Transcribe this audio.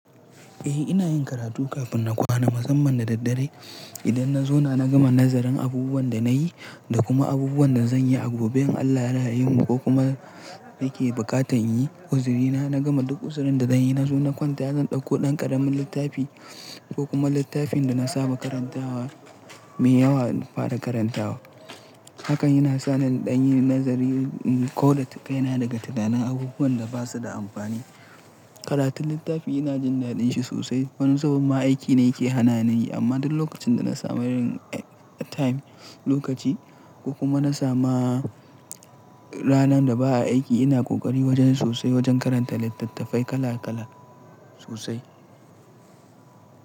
Eh ina yin karatu kafin na kwana, musamman da daddare. Idan na zauna na gama nazarin abubuwan da na yi da kuma abubuwan da zan yi a gobe, in Allah ya yimu ko kuma nake bukatar yin uzurina, na gama duk uzurin da zan yi, na zo na kwanta, zan ɗauko ɗan ƙaramin littafi ko kuma littafin da na saba karantawa mai yawa na fara karantawa. Hakan yana sa ni in ɗan yi nazari, in kau da kaina daga tunanin abubuwan da ba su da amfani. Karatu littafi ina jin daɗin shi sosai. Wani zubin ma aiki ne yake hana ni yi, amma duk lokacin da na samu yin time, lokaci ko kuma na samu ranar da ba a aiki, ina ƙoƙari wajen sosai wajen karanta littattafai kala kala sosai.